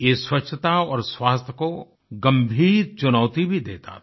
ये स्वच्छता और स्वास्थ्य को गंभीर चुनौती भी देता था